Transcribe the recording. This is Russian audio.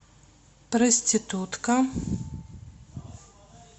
проститутка